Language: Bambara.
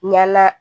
Ɲala